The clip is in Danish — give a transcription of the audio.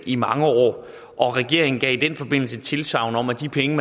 i mange år regeringen gav i den forbindelse tilsagn om at de penge